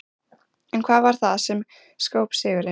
En hvað varð það sem skóp sigurinn?